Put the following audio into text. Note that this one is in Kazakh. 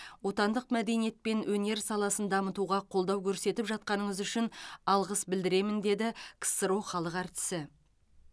отандық мәдениет пен өнер саласын дамытуға қолдау көрсетіп жатқаныңыз үшін алғыс білдіремін деді ксро халық әртісі